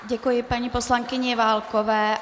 Děkuji paní poslankyni Válkové.